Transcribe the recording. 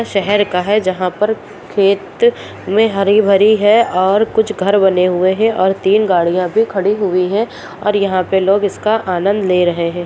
शहर का है जहाँ पर खेत में हरी-भरी है और कुछ घर बने हुए हैं और तीन गाड़ियां भी खड़ी हुई है और यहाँ पे लोग इसका आनंद ले रहें हैं।